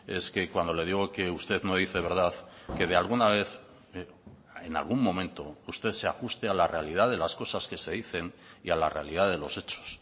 es que cuando le digo que usted no dice verdad que de alguna vez en algún momento usted se ajuste a la realidad de las cosas que se dicen y a la realidad de los hechos